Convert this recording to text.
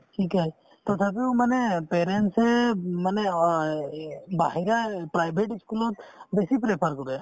শিকাই তথাপিও মানে parents য়ে উম মানে অ এই এই বাহিৰা এই private ই school ত বেছি prefer কৰে